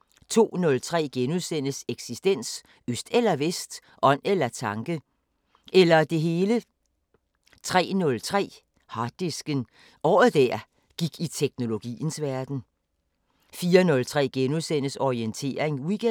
* 02:03: Eksistens: Øst eller Vest. Ånd eller tanke. Eller det hele. * 03:03: Harddisken: Året der gik i teknologiens verden 04:03: Orientering Weekend *